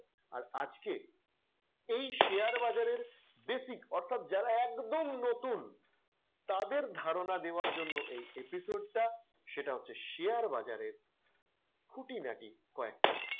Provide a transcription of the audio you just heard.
আর আজকে share বাজারের basic অর্থাৎ যারা একদম নতুন তাদের ধারনা দেয়ার জন্য এই episode টা সেটা হচ্ছে share বাজারের খুঁটিনাটি কয়েকটা,